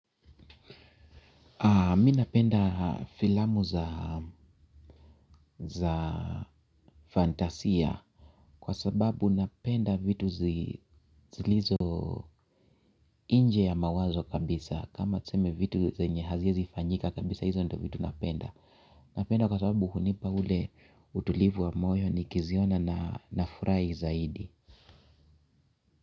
Mi napenda filamu za fantasia kwa sababu napenda vitu zilizo inje ya mawazo kabisa kama tseme vitu zenye haziezifanyika kabisa hizo ndo vitu napenda. Napenda kwa sababu hunipa ule utulivu wa moyo nikiziona na nafurai zaidi.